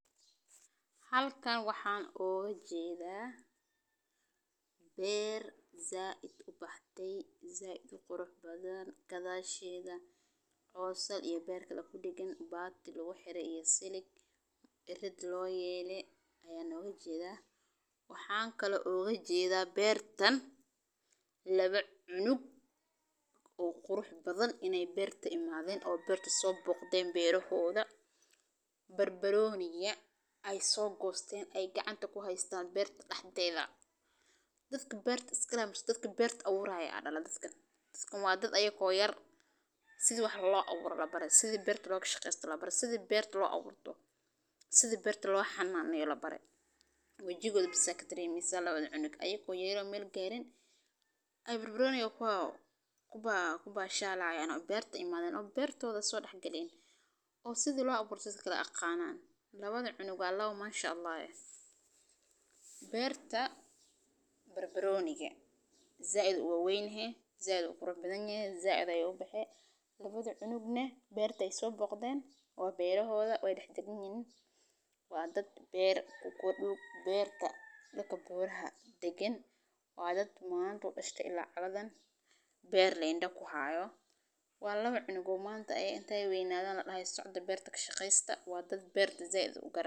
Halkan waxan iga jedha beer said u baxde said uqurux badan gadashedha cos iyo beer kudagan bati lagu xire iyo silig irid loyele ayan iga jedha waxan kale oo an oga jedha beertan lawa cunug oo qurix badan in ee beerta imadhen beera hodha bar baroniga ee so gosten ee gacanta ku hastan beerta daxdedha dadka beerta leh aya dale sitha beerta lo aburo labar indahodha aya ka garani barbaroniga ayey ku bashali hayan oo beertodha so dax galen oo si lo aburto yaqanan lawadhan cunug waa lawa manshaallah eh, beerta danka buraha dagan waa dad su udashte ila cagadhan beer leh inda muhaya waa lawa cunug hade qeynadhan ladahayo socda beerta kashaqesta waa dad berta said u garanayo.